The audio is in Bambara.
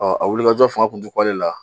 a wuli ka jɔ fanga tun te kun ale la.